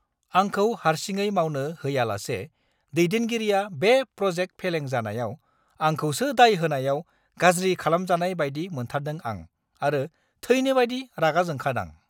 आंखौ हारसिङै मावनो होयालासे दैदेनगिरिया बे प्र'जेक्ट फेलें जानायाव आंखौसो दाय होनायाव गाज्रि खालामजानाय बायदि मोनथारदों आं आरो थैनोबायदि रागाजोंखादां!